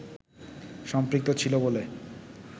সম্পৃক্ত ছিল বলে